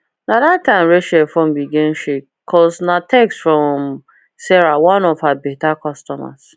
na that time rachel phone begin shake cos na text from sarah one of her better customers